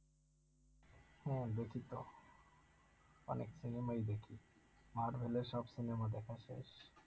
হ্যাঁ, দেখি তো অনেক cinema ই দেখি আর হইলে সব cinema দ্যাখা শেষ